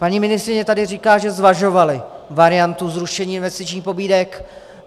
Paní ministryně tady říká, že zvažovali variantu zrušení investičních pobídek.